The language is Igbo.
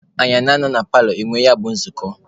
Anyị a ga-anọ na paalọ nwee ya bụ nzukọ?